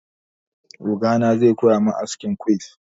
Ogana zai koya min askin quiff.